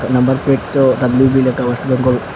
নাম্বারপ্লেটে আঃ ডাবলু_বি লেখা ওয়েস্ট বেঙ্গল ।